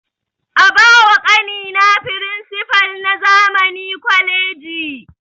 A ba wa ƙani na firinsipal na zamani college